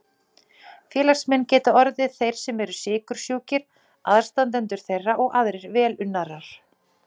Félagsmenn geta orðið þeir sem eru sykursjúkir, aðstandendur þeirra og aðrir velunnarar.